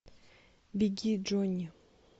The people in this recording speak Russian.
беги джонни